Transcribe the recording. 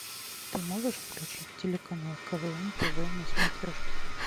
ты можешь включить телеканал квн тв на смотрешке